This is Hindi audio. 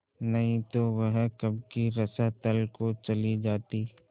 नहीं तो वह कब की रसातल को चली जाती